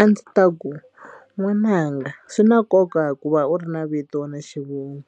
A ndzi ta ku n'wananga swi na nkoka hikuva u ri na vito na xivongo